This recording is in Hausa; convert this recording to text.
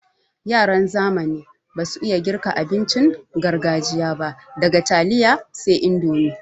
Yaran zamani basu iya girka abincin gargajiya ba daga taliya sai indomi.